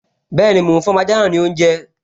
Bẹ́ẹ̀ni, mò ún fún ọmọ ajá náà ní oúnjẹ